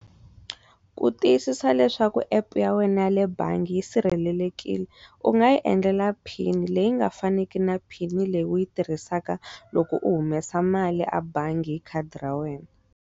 Ku tiyisisa leswaku app ya wena yale bangi yi sirhelelekile u nga yi endlela phini leyi nga faniki na phini leyi u yi tirhisaka loko u humesa mali a bangi hi khadi ra wena.